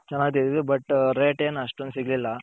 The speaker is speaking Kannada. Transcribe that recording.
ಚೆನಾಗ್ ತೆಗೆದಿದ್ವಿ ಬಟ್ rate ಏನ್ ಅಷ್ಟೊಂದ್ ಸಿಗ್ಲಿಲ್ಲ.